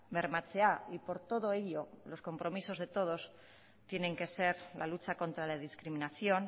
bermatzea y por todo ello los compromisos de todos tiene que ser la lucha contra la discriminación